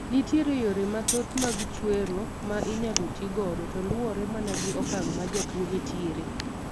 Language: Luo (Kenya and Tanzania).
Nitiere yore mathoth mag chwero ma inyalo ti godo to luwore mana gi okang' ma jatuo ni tiere.